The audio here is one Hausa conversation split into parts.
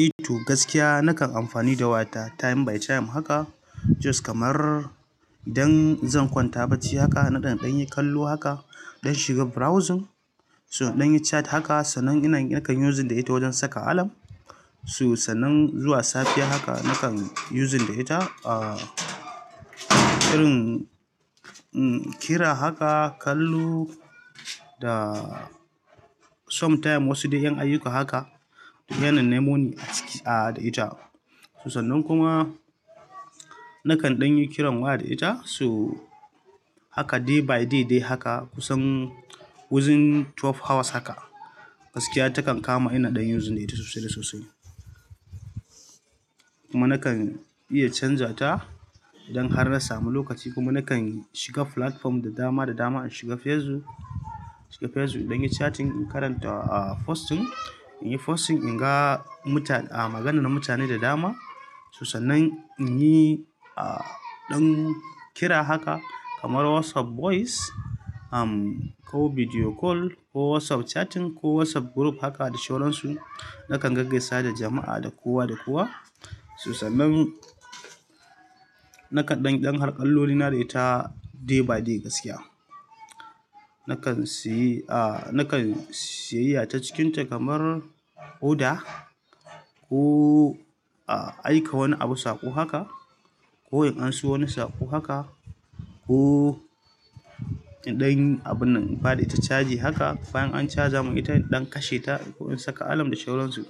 Eh to gaskiya nakan amfani da waya ta time by time haka. Jos kamar idan zan kwanta barci haka nakan ɗan yi kallo haka dan shiga burawzin, so in ɗanyi chat haka sannan nakayi yusin da ita wojen saka alam. To sannan zuwa safiya haka nakan using da ita, ah, irin, em, kira haka, kallo da somtime wasu dai ƴan ayuka haka, yana nemo ni a ciki, ah, da ita. To sannan kuma, nakan ɗanyi kiran waya da ita so haka day by day dai haka kusan wojen tuwav hawas dai haka. Gaskiya ta kan kama ina ɗan using da ita sosai da sosai. Kuma nakan iya canja ta idan har na samu lokaci kuma nakan shiga fulatform da dama, da dama. Shiga Facebook, shiga Facebook in ɗanyi chatting, in karanta, ah, posting. In yi posting, in ga muta-- ah, maganan mutane da dama. To sannan in yi, ah, ɗan kira haka kamar WhatsApp voice, um, ko video call ko Whatsap chatting ko Whatsap group haka da sauransu. Nakan gag gaisa da jama'a da kowa da kowa. To sannan nakan ɗanyi ɗan harkalloli na da ita day by day gaskiya. Nakan seyi, ah, nakan siyeyya ta cikinta kamar oda ko, ah, aika wani abu saƙo haka ko in an so wani saƙo haka, ko in ɗan abun nan baɗa ita chaji haka, bayan an chaja mun ita inɗan kashe ta ko in saka alam da sauransu.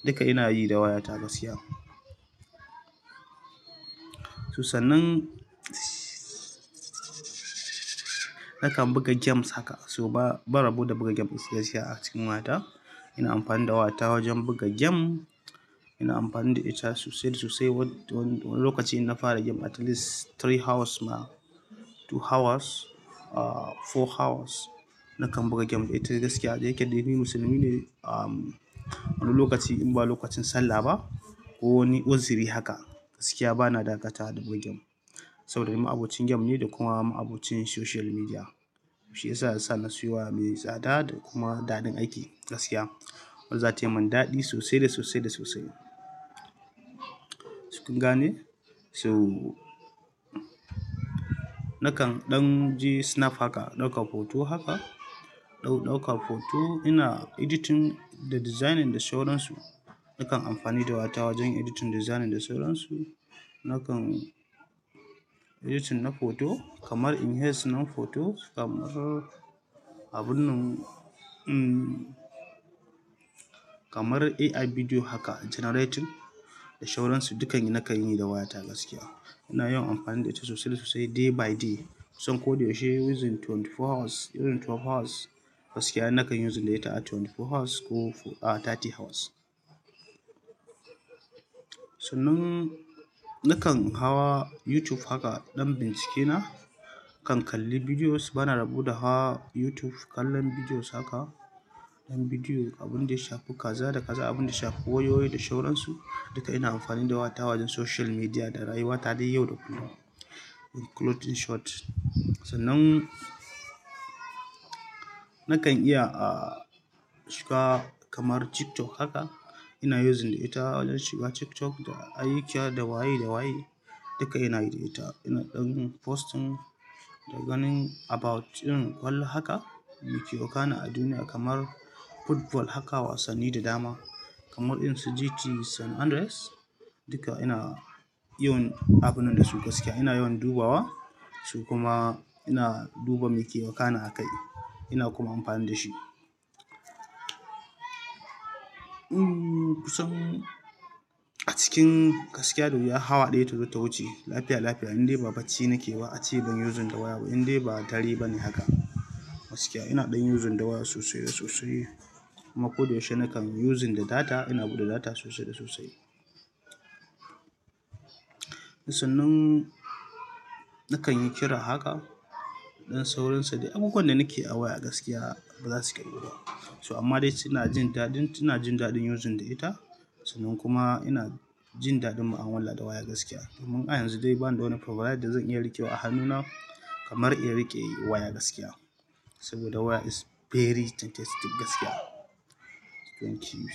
Duka ina yi da wayata gaskiya. To sannan, nakan buga gems haka so ba, ba rabo da buga gem gaskiya she a cikin wayata. Ina amfani da wayata wajen buga gem. Ina ampani da ita sosai da sosai wani lokaci in na fara gem atilis tiri hawas ma, tu hawas, ah four hawas, nakan buga gem da ita gaskiya da yake dai ni musulmi ne am. Wani lokaci in ba lokacin sallah ba, ko wani wazi'ri haka gaskiya bana dakata wa da buga gem. Saboda ni ma'abocin gem ne da kuma ma'abocin shoshial midiya. She yasa na siyo waya mai tsada da kuma daɗin aiki gaskiya. Wanda za ta yi min daɗi sosai da sosai da sosai. Cikin gane? To, nakan ɗan je sinap haka ɗaukan hoto haka, dau-ɗaukar hoto. Ina editin da dizainin da sauransu. Nakan amfani da wayata wajen editin, da dizanin da sauransu. Nakan editin na hoto kamar inhes na hoto, kamar abun nan, mm, kamar AI bidiyo haka ganaretin da shauransu duka ni nakan yi da wayata gaskiya. Ina yawan amfani da ita sosai da sosai day by day. Kusan ko da yaushe wizin tuwenti four hawas, wizin tuwaf hawas gaskiya nakan yuzin da ita ah, tuwenti four hawas ko fo-- ah, tati hawas. Sannan nakan hawa Yutuf haka ɗan bincike na kan, kalli bidiyos, bana rabo da hawa Yutuv kallon bidiyos haka. Ɗan bidiyo, abunda ya shafi kaza da kaza, abin da shafi wayoyi da shauransu duka ina amfani da wayata wajen social midiya da rayuwa ta dai yau da kullum, in kulotin shot. Sannan nakan iya, ah, shiga kamar TikTok haka. Ina yuzin da ita wojen shiga TikTok da ayyukiya da waye da waye. Duka ina yi da ita. Ina ɗan postin da ganin abawut irin ƙwallo haka, me ke wakana a duniya kamar football haka wasanni da dama. Kamar in su GT San Andreas. Duka ina yin abun nan da su gaskiya. Ina yawan dubawa su kuma ina duba me ke wakana a kai. Ina kuma amfani da shi. Mm, kusan a cikin gaskiya da wuya hawa ɗaya ta zo ta wuce, lafiya, lafiya indai ba bacci nake ba, a ce ban yuzin da waya ba indai ba tare ba ne haka gaskiya ina ɗan yuzin da waya sosai da sosai. Kuma ko da yaushe nakan using da data ina buɗe data sosai da sosai. Sannan, nakan yi kira haka ɗan sauransu dai abubuwan da nake a waya gaskiya ba za su ƙirgu ba. So amma dai cina jin daɗin, ina jin daɗin yuzin da ita. Sannan kuma ina jin daɗin mu'amala da waya gaskiya, domin har yanzu dai bani da wani pro da yadda zan iya riƙe wa a hannuna kamar in riƙe waya gaskiya. Saboda waya is very fantastic gaskiya. Thank you.